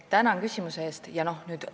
Tänan küsimuse eest!